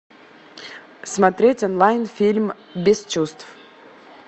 смотреть онлайн фильм без чувств